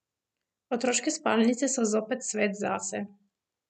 Otroške spalnice so zopet svet zase.